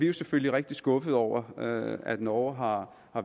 jo selvfølgelig rigtig skuffede over at norge har